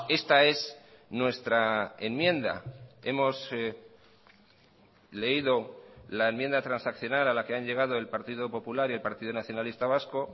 esta es nuestra enmienda hemos leído la enmienda transaccional a la que han llegado el partido popular y el partido nacionalista vasco